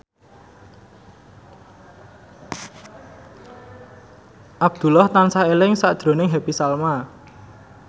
Abdullah tansah eling sakjroning Happy Salma